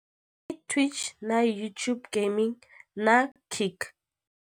I Twitch na YouTube Gaming na Kik.